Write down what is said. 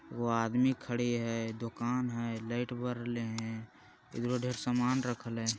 वो आदमी खड़े है दुकान है लाइट बर रहले हैं ईधरो ढेर सामान रखल है।